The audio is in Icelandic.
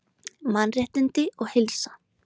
MANNRÉTTINDI OG HEILSA